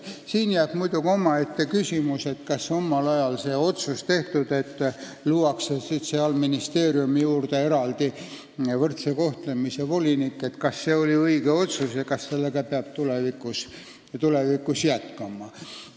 Siin jääb muidugi küsimus, kas see omal ajal tehtud otsus, et Sotsiaalministeeriumi juurde luuakse eraldi võrdse kohtlemise voliniku ametikoht, oli õige ja kas sellega peab tulevikus jätkama.